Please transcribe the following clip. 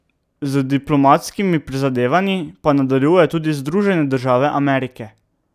Z diplomatskimi prizadevanji pa nadaljujejo tudi Združene države Amerike.